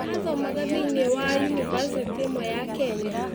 Athomaga thĩinĩ wa yunibacĩtĩ ĩmwe ya Kenya